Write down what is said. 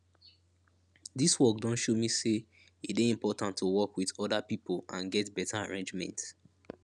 dis work don show me say e dey important to work wit oda pipo and get beta arrangement